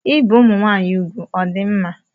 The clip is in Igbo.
Ibi ụmụnwaanyị ugwu ọ dị mma?